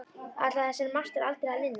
Ætlaði þessari martröð aldrei að linna?